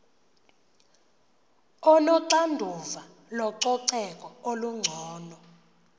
onoxanduva lococeko olungcono